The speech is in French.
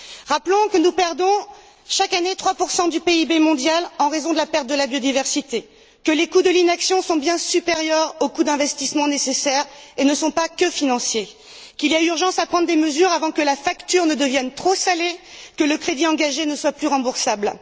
Rappelons que nous perdons chaque année 3 du PIB mondial en raison de la perte de la biodiversité, que les coûts de l'inaction sont bien supérieurs aux coûts d'investissement nécessaires et ne sont pas seulement financiers, qu'il y a urgence à prendre des mesures avant que la facture ne devienne trop salée et que le crédit engagé ne soit plus remboursable.